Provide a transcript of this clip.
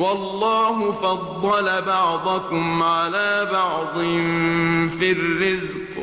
وَاللَّهُ فَضَّلَ بَعْضَكُمْ عَلَىٰ بَعْضٍ فِي الرِّزْقِ ۚ